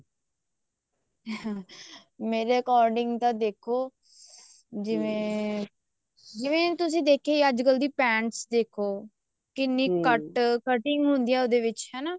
ਮੇਰੇ according ਤਾਂ ਦੇਖੋ ਜਿਵੇਂ ਜਿਵੇਂ ਤੁਸੀਂ ਦੇਖਿਆ ਹੀ ਹੈ ਅੱਜਕਲ ਦੀ pants ਦੇਖੋ ਕਿੰਨੀ cut cutting ਹੁੰਦੀ ਆ ਉਹਦੇ ਵਿੱਚ ਹਨਾ